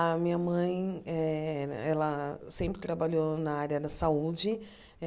A minha mãe eh ela sempre trabalhou na área da saúde.